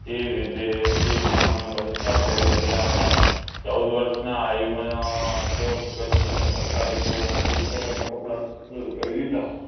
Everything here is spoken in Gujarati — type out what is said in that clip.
જે વિદેશી સામાનનો બહિષ્કાર કરી રહ્યા હતા. ચૌદ વર્ષના આ ઉંમરે જો ભગતસિંહે સરકારી સ્કૂલના પુસ્તકો ને કપડાં કરી દીધા